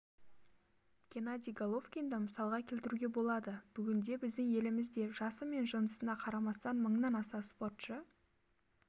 геннадий головкинді мысалға келтіруге болады бүгінде біздің елімізде жасы мен жынысына қарамастан мыңнан аса спортшы